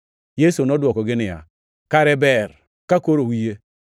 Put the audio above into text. Yesu nodwokogi niya, “Kare ber ka koro uyie!